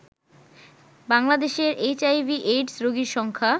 বাংলাদেশে এইচআইভি/এইডস রোগীর সংখ্যা